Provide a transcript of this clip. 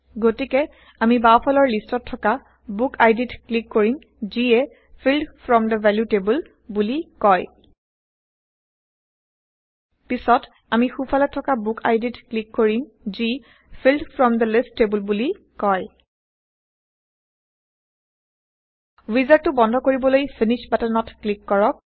গতিকে আমি বাওফালৰ লিষ্টত থকা বুকআইডিত160ক্লিক কৰিম যিয়ে field from the value table বোলি কয় পিছত আমি সোঁফলে থকা বুকআইডিত ক্লিক কৰিম যি field from the list table বুলি কয় ৱিজাৰ্ডটো বন্ধ কৰিবলৈ ফিনিশ্ব বাটনটোত ক্লিক কৰক